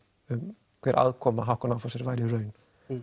um hver aðkoma Hauck og Aufhäuser væri í raun